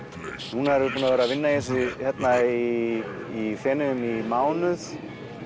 núna erum við búin að vera að vinna í þessu í í Feneyjum í mánuð